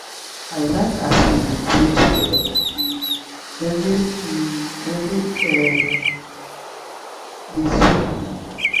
i like as we dey play togeda um every um evening e um um dey sweet me.